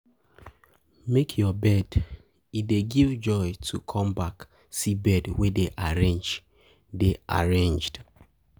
Make your bed, e dey give joy to come back see bed wey dey arranged dey arranged